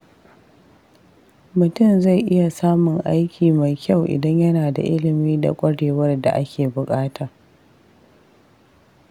Mutum zai iya samun aiki mai kyau idan yana da ilimi da ƙwarewar da ake buƙata.